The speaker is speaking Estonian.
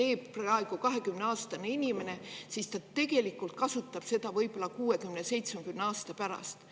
teeb praegu 20-aastane inimene, siis ta tegelikult kasutab seda võib-olla 60 või 70 aasta pärast.